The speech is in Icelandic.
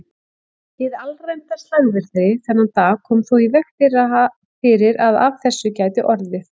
Hið alræmda slagviðri þennan dag kom þó í veg fyrir að af þessu gæti orðið.